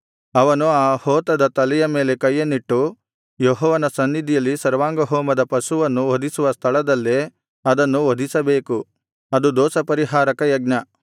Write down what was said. ಅವನು ಆ ಹೋತದ ತಲೆಯ ಮೇಲೆ ಕೈಯನ್ನಿಟ್ಟು ಯೆಹೋವನ ಸನ್ನಿಧಿಯಲ್ಲಿ ಸರ್ವಾಂಗಹೋಮದ ಪಶುಗಳನ್ನು ವಧಿಸುವ ಸ್ಥಳದಲ್ಲೇ ಅದನ್ನು ವಧಿಸಬೇಕು ಅದು ದೋಷಪರಿಹಾರಕ ಯಜ್ಞ